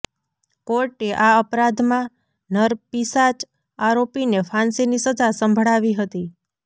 કોર્ટે આ અપરાધમાં નરપિશાચ આરોપીને ફાંસીની સજા સંભળાવી હતી